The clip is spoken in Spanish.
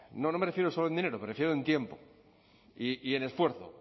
no no me refiero solo en dinero me refiero en tiempo y esfuerzo